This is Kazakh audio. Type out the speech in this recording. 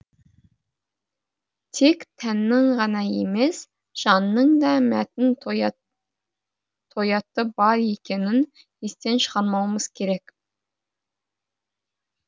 тек тәннің ғана емес жанның да мәтін тояты бар екенін естен шығармауымыз керек